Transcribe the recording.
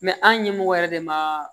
an ɲɛmɔgɔ yɛrɛ de ma